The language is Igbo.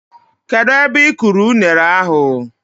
Kedụ ebe ị kụrụ unere ahụ?